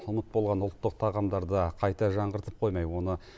ұмыт болған ұлттық тағамдарды қайта жаңғыртып қоймай оны